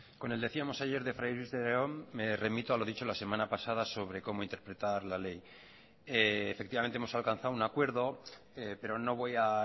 con el decíamos ayer de fray luis de león me remito a lo dicho la semana pasada sobre cómo interpretar la ley efectivamente hemos alcanzado un acuerdo pero no voy a